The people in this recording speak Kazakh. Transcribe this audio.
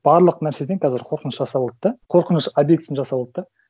барлық нәрседен қазір қорқыныш жасап алды да қорқыныш объектісін жасап алды да